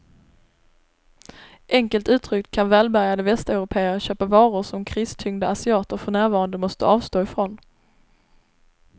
Enkelt uttryckt kan välbärgade västeuropéer köpa varor som kristyngda asiater för närvarande måste avstå ifrån.